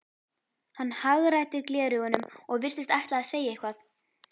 Hann hagræddi gleraugunum og virtist ætla að segja eitthvað.